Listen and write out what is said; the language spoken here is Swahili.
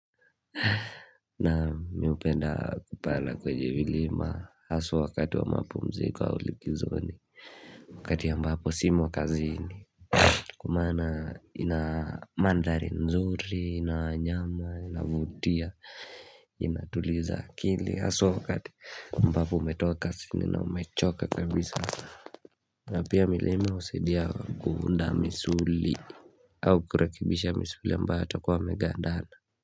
Na mi hupenda kupanda kwenye milima haswa wakati wa mapumziko wa likizoni Wakati ya ambapo simo kazini Kwa maana ina mandhari nzuri, ina nyama, inavutia, inatuliza akili Haswa wakati ambapo umetoka siku na umechoka kabisa na pia milima husidia kuunda misuli au kurekebisha misuli ambayo yatakuwa yamegandana.